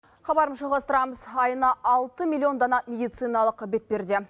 хабарымызды жалғастырамыз айына алты миллион дана медициналық бетперде